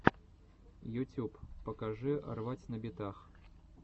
ютюб покажи рвать на битах